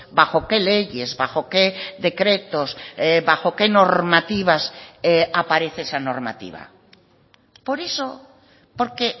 bajo qué leyes bajo qué decretos bajo qué normativas aparece esa normativa por eso porque